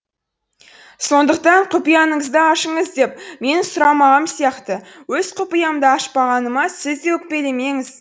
сондықтан құпияңызды ашыңыз деп менің сұрамағаным сияқты өз құпиямды ашпағаныма сіз де өкпелемеңіз